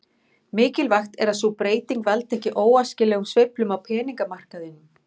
Mikilvægt er að sú breyting valdi ekki óæskilegum sveiflum á peningamarkaðinum.